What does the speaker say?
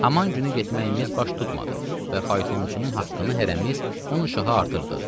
Haman günü getməyimiz baş tutmadı və faytonçunun haqqını hərəmiz 10 uşaq artırdıq.